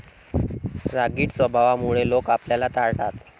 रागीट स्वभावामुळं लोक आपल्याला टाळतात.